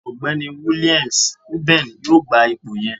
Ọgbẹni Williams Uben yoo gba ipo yẹn.